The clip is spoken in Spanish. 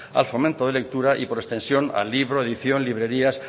al fomento de lectura y por extensión al libro edición librerías